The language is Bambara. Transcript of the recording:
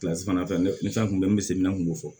fana fɛ ni fɛn kun bɛ n bɛ semini kun fɔ